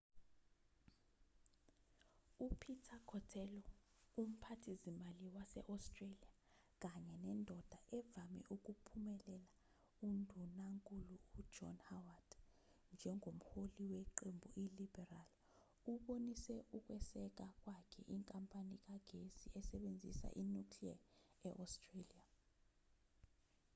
u-peter cotello umphathizimali wase-australia kanye nendoda evame ukuphumelela undunankulu u-john howard njengomholi weqembu i-liberal ubonise ukweseka kwakhe inkampani kagesi esebenzisa i-nuclear e-australia